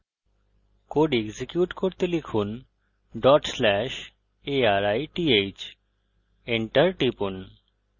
code execute করতে লিখুন/arith enter টিপুন